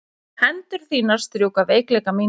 Hendur þínar strjúka veikleika mína.